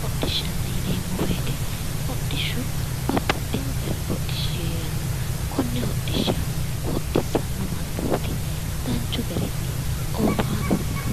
Hodhishshanna yineemmo woyite hodhishshu babbaxxewo garihu heeranno. Konne hodhishshanna hodhissanno mannooti ofaano danchu garinni